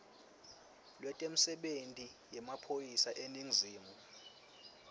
lwetemisebenti yemaphoyisa eningizimu